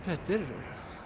þetta er